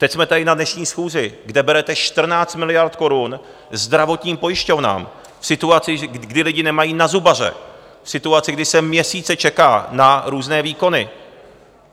Teď jsme tady na dnešní schůzi, kde berete 14 miliard korun zdravotním pojišťovnám v situaci, kdy lidé nemají na zubaře, v situaci, kdy se měsíce čeká na různé výkony.